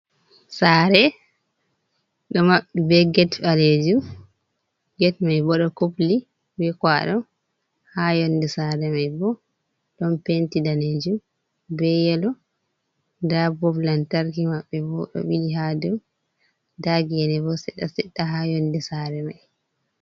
Saare ɗo maɓɓi, be get ɓaleejum, get mai bo ɗo kupli be kwaɗo, haa yonɗe saare mai bo ɗon penti daneejum, be yelo, nda bob lantarki maɓɓe ɓo ɗo ɓili haa doo, nda geene bo seeɗa-seɗɗa haa yonɗe saare mai.